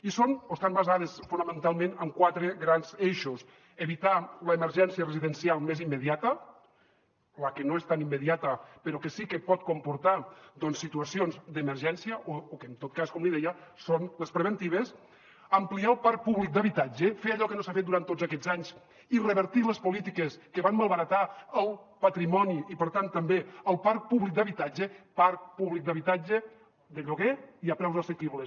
i són o estan basades fonamentalment en quatre grans eixos evitar l’emergència residencial més immediata la que no és tan immediata però que sí que pot comportar doncs situacions d’emergència o que en tot cas com li deia són les preventives ampliar el parc públic d’habitatge fer allò que no s’ha fet durant tots aquests anys i revertir les polítiques que van malbaratar el patrimoni i per tant també el parc públic d’habitatge parc públic d’habitatge de lloguer i a preus assequibles